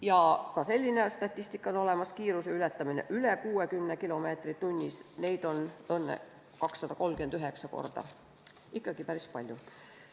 Ja ka selline statistika on olemas: kiiruse ületamine üle 60 kilomeetri tunnis, neid on 239 korda – ikkagi päris palju.